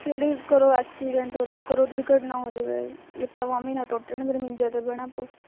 ਕੇਹੜੀ ਖਰੇ accident ਹੋ ਜਾਵੇ ਕੋਈ ਦੁਰਘਟਨਾ ਹੋ ਜਵੇ, ਲੱਤਾਂ ਬਾਂਹਵਾਂ ਨਾ ਟੁੱਟ ਜਵੇ ਫਿਰ ਮੰਜੇ ਤੇ ਬਹਿਣਾ ਪਊ